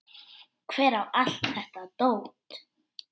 Hver á allt þetta dót?